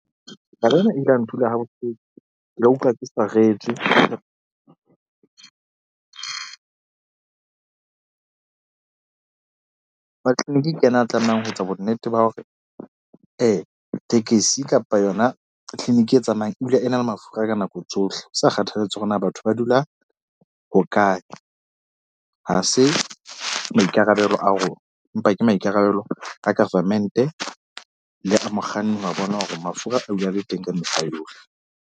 Taba ena e ile ya ntula ha bohloko, ke ile ka ikutlwa ke saretswe wa clinic-i ke yena a tlamehang ho etsa bo nnete ba hore, tekesi kapa yona clinic-i e tsamayang ebile e na le mafura ka nako tsohle. Ho sa kgathalatsehe hore na batho ba dula hokae. Ha se maikarabelo a rona empa ke maikarabelo a government-e le a mokganni wa bona hore mafura a dula a le teng ka mehla yohle.